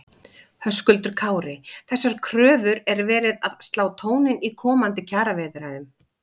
Höskuldur Kári: Þessar kröfur er verið að slá tóninn í komandi kjaraviðræðum?